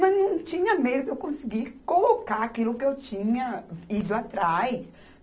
Mas não tinha meio de eu conseguir colocar aquilo que eu tinha ido atrás.